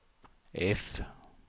F